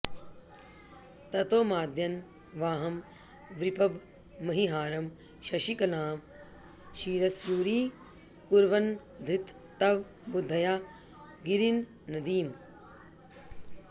ततो माद्यन् वाहं वृपभमहिहारं शशिकलां शिरस्यूरीकुर्वन्नधृत तव बुद्धया गिरिनदीम्